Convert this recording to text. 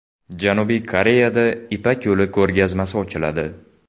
Janubiy Koreyada Ipak yo‘li ko‘rgazmasi ochiladi.